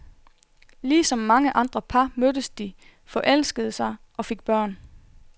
Ligesom mange andre par mødtes de, forelskede sig, og fik børn.